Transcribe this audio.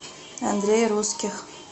андрей русских